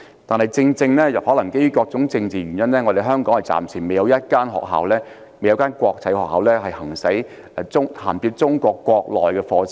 但是，基於各種政治原因，香港暫時未有一間國際學校銜接中國國內的課程。